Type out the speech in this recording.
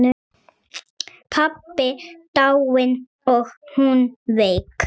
Pabbi dáinn og hún veik.